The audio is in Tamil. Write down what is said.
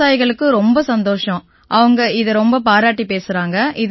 விவசாயிகளுக்கு ரொம்ப சந்தோஷம் அவங்க இதை ரொம்ப பாராட்டிப் பேசறாங்க